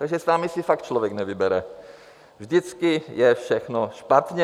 Takže s vámi si fakt člověk nevybere, vždycky je všechno špatně.